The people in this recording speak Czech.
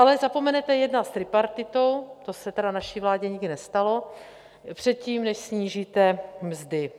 Ale zapomenete jednat s tripartitou - to se tedy naší vládě nikdy nestalo - předtím, než snížíte mzdy.